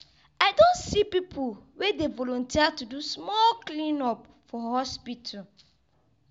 i don see pipu wey dey volunteer to do small clean-up for hospital.